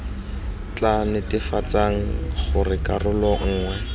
tla netefatsang gore karolo nngwe